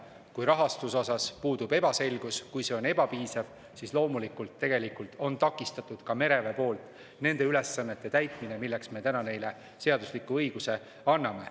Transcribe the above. Kui rahastuses puudub selgus, kui see on ebapiisav, siis on mereväel loomulikult takistatud ka nende ülesannete täitmine, milleks me täna neile seadusliku õiguse anname.